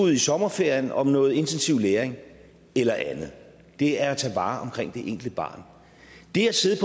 i sommerferien om noget intensiv læring eller andet det er at tage vare på enkelte barn det at sidde